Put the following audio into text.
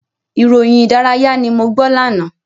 Ìròyìn ìdárayá ni mo gbọ́ lánàá.